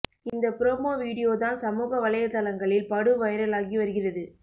இந்த promo video தான் சமூக வளையதளங்களில் படு வைரலாகி வருகிறது